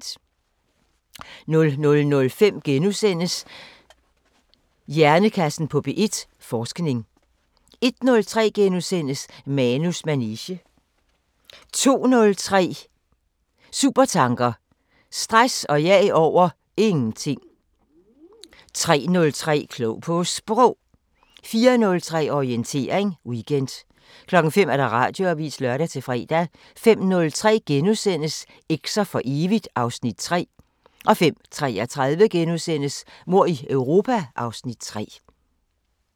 00:05: Hjernekassen på P1: Forskning i fysiologi * 01:03: Manus manege * 02:03: Supertanker: Stress og jag over ... ingenting 03:03: Klog på Sprog 04:03: Orientering Weekend 05:00: Radioavisen (lør-fre) 05:03: Eks'er for evigt (Afs. 3)* 05:33: Mord i Europa (Afs. 3)*